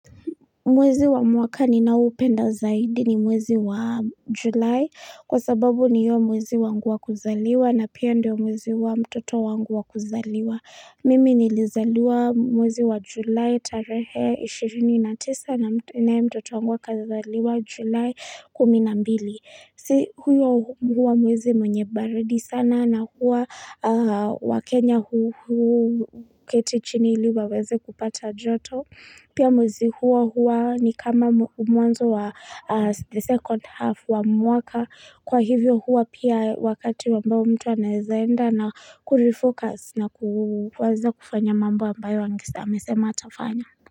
Mwezi wa mwaka ni na upenda zaidi ni mwezi wa julai kwa sababu ni hio mwezi wangu wa kuzaliwa na pia ndio mwezi wa mtoto wangu wa kuzaliwa. Mimi nilizaliwa mwezi wa julai tarehe 29 na mtoto wangu wa kuzaliwa julai 10. Na mbili, si huyo huwa muwezi mwenye baridi sana na huwa wa Kenya huu ketichini ili waweze kupata joto. Pia muwezi hua huwa ni kama mwanzo wa the second half wa mwaka. Kwa hivyo huwa pia wakati wamba mtu anazaenda na kurefocus na kuwaza kufanya mambo ambayo agesema amesema atafanya.